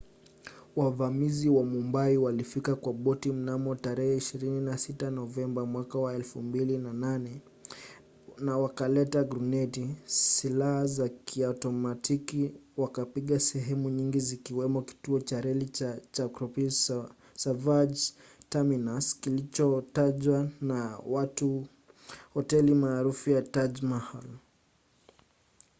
wavamizi wa mumbai walifika kwa boti mnamo 26 novemba 2008 na wakaleta gruneti silaha za kiotomatiki na wakapiga sehemu nyingi zikiwamo kituo cha reli cha chhatrapati shivaji terminus kilichojawa na watu na hoteli maarufu ya taj mahal